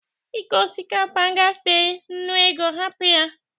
Ịko osikapa gafee nnu ego, hapụ ya!